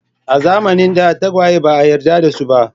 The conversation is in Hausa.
A zamanin da tagwaye ba a yarda da su ba.